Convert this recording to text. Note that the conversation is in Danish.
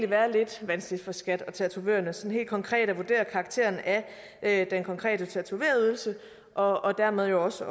være lidt vanskeligt for skat og tatovørerne sådan helt konkret at vurdere karakteren af den konkrete tatovørydelse og dermed jo også